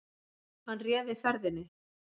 Hann réði ferðinni